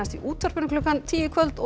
í útvarpinu klukkan tíu í kvöld og